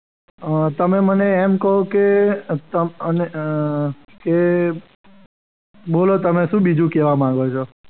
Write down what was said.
તમે મને એમ કહો કે અમ કે બોલો તમે બીજું શું કહેવા માગો છો.